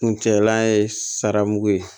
Kuncɛlan ye sara mugu ye